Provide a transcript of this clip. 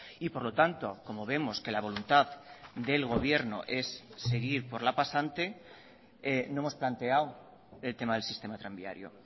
y por lo tanto como vemos que la voluntad del gobierno es seguir por la pasante no hemos planteado el tema del sistema tranviario